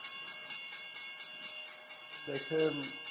দেখেন,